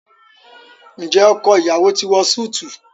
Njé ọkọ iyawo ti wọ Súìti?